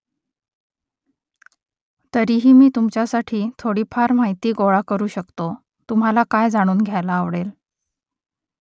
तरीही मी तुमच्यासाठी थोडीफार माहिती गोळा करू शकतो तुम्हाला काय जाणून घ्यायला आवडेल ?